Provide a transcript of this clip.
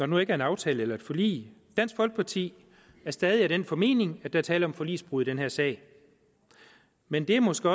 nu ikke er en aftale eller et forlig dansk folkeparti er stadig af den formening at der er tale om forligsbrud i den her sag men det er måske